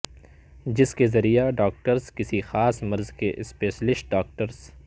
جس کے ذریعہ ڈاکٹرس کسی خاص مرض کے اسپشیلسٹ ڈاکٹرس